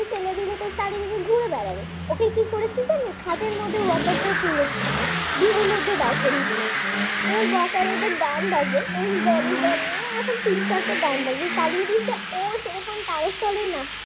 ঘুরে বেড়াবে। ওকে কি করেছি জানেন খাটের মধ্যে walker টা তুলে দিয়েছে ওর মধ্যে দাঁড় করিয়ে দিয়েছি walker এ যে গান বাজে ওই জনি নজি এখন তিন চারটা গানে বাজে ও সেরকম তালে তালে নাচ